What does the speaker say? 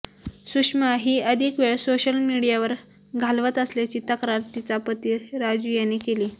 सुशमा ही अधिक वेळ सोशल मीडियावर घालवत असल्याची तक्रार तिचा पती राजू याने केली